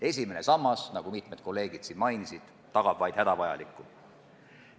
Esimene sammas, nagu mitmed kolleegid siin mainisid, tagab vaid hädavajaliku.